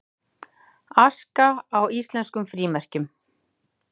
Aska á íslenskum frímerkjum